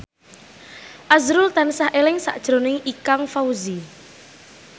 azrul tansah eling sakjroning Ikang Fawzi